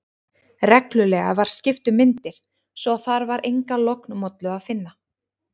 Reglulega var skipt um myndir, svo að þar var enga lognmollu að finna.